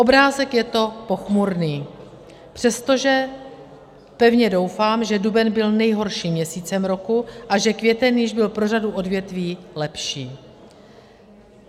Obrázek je to pochmurný, přestože pevně doufám, že duben byl nejhorším měsícem roku a že květen již byl pro řadu odvětví lepší.